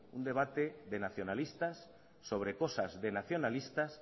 un debate de nacionalistas sobre cosas de nacionalistas